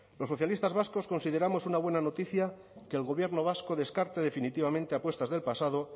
los socialistas vascos consideramos una buena noticia que el gobierno vasco descarte definitivamente apuestas del pasado